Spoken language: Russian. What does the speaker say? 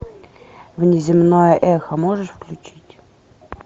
внеземное эхо можешь включить